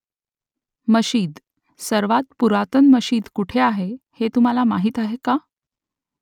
मशीद . सर्वांत पुरातन मशीद कुठे आहे हे तुम्हाला माहीत आहे का ?